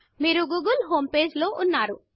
మీరు గూగిల్ homepageగూగుల్ హోమ్పేజీలో ఉన్నారు